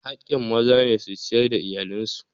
Haƙƙin maza ne su ciyar da iyalan su.